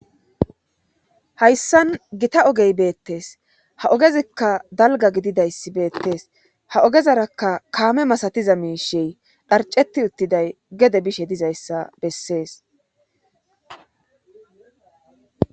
hayssan gita ogey beettees ha ogezikka dalga gididayssi beettees ha ogezarakka kaame masatiza miishey dharcetti uttiday gede bishe dizayssa bessees